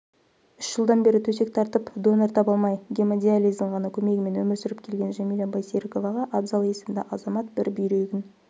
үш жылдан бері төсек тартып донор таба алмай гемодиализдің ғана көмегімен өмір сүріп келген жәмила байсеріковаға абзал есімді азамат бір бүйрегін